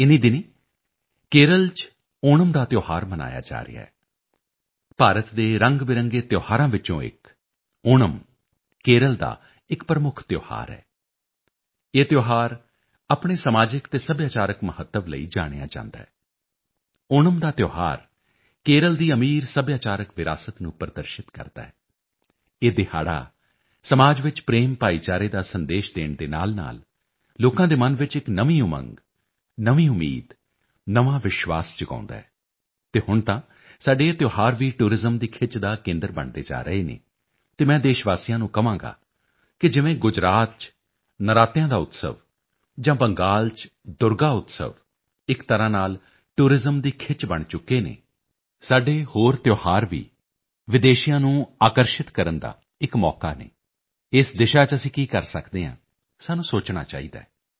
ਇਨ੍ਹੀਂ ਦਿਨੀਂ ਕੇਰਲ ਚ ਓਣਮ ਦਾ ਤਿਓਹਾਰ ਮਨਾਇਆ ਜਾ ਰਿਹਾ ਹੈ ਭਾਰਤ ਦੇ ਰੰਗਬਰੰਗੇ ਤਿਓਹਾਰਾਂ ਵਿੱਚੋਂ ਇੱਕ ਓਣਮ ਕੇਰਲ ਦਾ ਇੱਕ ਪ੍ਰਮੁੱਖ ਤਿਓਹਾਰ ਹੈ ਇਹ ਤਿਓਹਾਰ ਆਪਣੇ ਸਮਾਜਿਕ ਅਤੇ ਸੱਭਿਆਚਾਰਕ ਮਹੱਤਵ ਲਈ ਜਾਣਿਆ ਜਾਂਦਾ ਹੈ ਓਣਮ ਦਾ ਤਿਓਹਾਰ ਕੇਰਲ ਦੀ ਅਮੀਰ ਸੱਭਿਆਚਾਰਕ ਵਿਰਾਸਤ ਨੂੰ ਪ੍ਰਦਰਸ਼ਿਤ ਕਰਦਾ ਹੈ ਇਹ ਦਿਹਾੜਾ ਸਮਾਜ ਚ ਪ੍ਰੇਮਭਾਈਚਾਰੇ ਦਾ ਸੰਦੇਸ਼ ਦੇਣ ਦੇ ਨਾਲਨਾਲ ਲੋਕਾਂ ਦੇ ਮਨ ਚ ਇੱਕ ਨਵੀਂ ਉਮੰਗ ਨਵੀਂ ਉਮੀਦ ਨਵਾਂ ਵਿਸ਼ਵਾਸ ਜਗਾਉਦਾ ਹੈ ਅਤੇ ਹੁਣ ਤਾਂ ਸਾਡੇ ਇਹ ਤਿਓਹਾਰ ਵੀ ਟੂਰਿਜ਼ਮ ਦੀ ਖਿੱਚ ਦਾ ਕਾਰਣ ਬਣਦੇ ਜਾ ਰਹੇ ਹਨ ਅਤੇ ਮੈਂ ਦੇਸ਼ ਵਾਸੀਆਂ ਨੂੰ ਕਹਾਂਗਾ ਕਿ ਜਿਵੇਂ ਗੁਜਰਾਤ ਚ ਨਰਾਤਿਆਂ ਦਾ ਉਤਸਵ ਜਾਂ ਬੰਗਾਲ ਚ ਦੁਰਗਾ ਉਤਸਵ ਇੱਕ ਤਰ੍ਹਾਂ ਨਾਲ ਟੂਰਿਜ਼ਮ ਦੀ ਖਿੱਚ ਬਣ ਚੁੱਕੇ ਹਨ ਸਾਡੇ ਹੋਰ ਤਿਓਹਾਰ ਵੀ ਵਿਦੇਸ਼ੀਆਂ ਦੀ ਖਿੱਚ ਦਾ ਇੱਕ ਮੌਕਾ ਹਨ ਇਸ ਦਿਸ਼ਾ ਚ ਅਸੀਂ ਕੀ ਕਰ ਸਕਦੇ ਹਾਂ ਸਾਨੂੰ ਸੋਚਣਾ ਚਾਹੀਦਾ ਹੈ